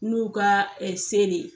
N'u ka se le.